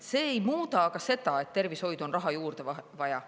See ei muuda aga seda, et tervishoidu on raha juurde vaja.